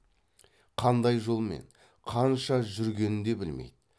қандай жолмен қанша жүргенін де білмейді